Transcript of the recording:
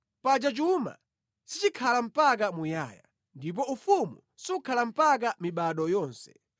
Paja chuma sichikhala mpaka muyaya, ndipo ufumu sukhala mpaka mibado yonse.